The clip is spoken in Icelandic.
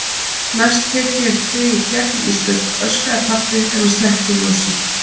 Næst tek ég þig í gegn Ísbjörg, öskrar pabbi þegar hann slekkur ljósið.